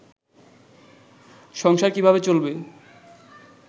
সংসার কীভাবে চলবে